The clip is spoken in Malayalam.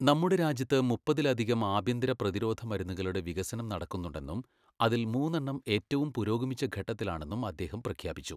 നമ്മുടെ രാജ്യത്ത് മുപ്പതിലധികം ആഭ്യന്തര പ്രതിരോധ മരുന്നുകളുടെ വികസനം നടക്കുന്നുണ്ടെന്നും അതിൽ മൂന്നെണ്ണം ഏറ്റവും പുരോഗമിച്ച ഘട്ടത്തിലാണെന്നും അദ്ദേഹം പ്രഖ്യാപിച്ചു.